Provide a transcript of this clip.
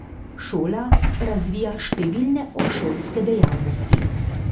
Šola razvija številne obšolske dejavnosti.